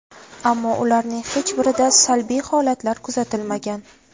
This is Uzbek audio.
Ammo ularning hech birida salbiy holatlar kuzatilmagan.